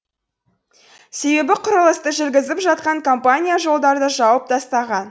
себебі құрылысты жүргізіп жатқан компания жолдарды жауып тастаған